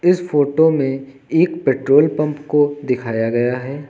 इस फोटो में एक पेट्रोल पंप को दिखाया गया है।